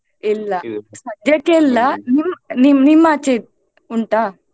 ಇಲ್ಲ ಸದ್ಯಕ್ಕೆ ಇಲ್ಲ ನಿಮ್~ ನಿಮ್~ ನಿಮ್ಮಾಚೆ ಉಂಟಾ.